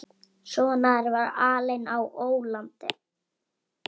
Svona er að vera alinn á ólandi.